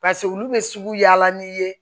olu bɛ sugu yaala n'i ye